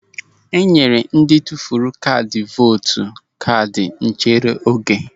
E nyere ndị tụfuru kaadị vootu kaadị nchere oge.